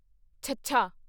ਛੱਛਾ